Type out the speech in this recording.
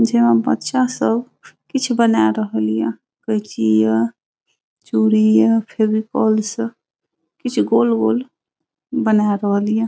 जे मे बच्चा सब किछ बनाए रहल ये केंची ये चूड़ी ये फेविकोल से कीछ गोल गोल बन रहल ये ।